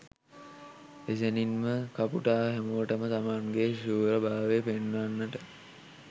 එසැනින්ම කපුටා හැමෝටම තමන්ගේ ශූරභාවය පෙන්වන්නට